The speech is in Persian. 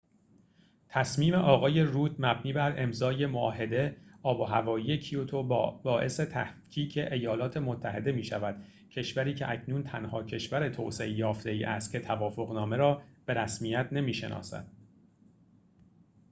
تصمیم آقای رود مبنی بر امضای معاهده آب‌وهوایی کیوتو باعث تفکیک ایالات متحده می‌شود کشوری که اکنون تنها کشور توسعه‌یافته‌ای است که توافق‌نامه را به رسمیت نمی‌شناسد